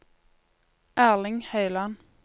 Erling Høyland